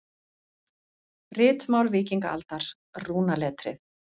Ritmál víkingaaldar, rúnaletrið.